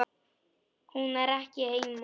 Hún er ekki heima.